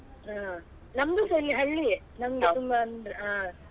ಹ ನಮ್ದುಸ ಇಲ್ಲಿ ಹಳ್ಳಿಯೇ ನಮ್ದು ತುಂಬ ಅಂದ್ರೆ.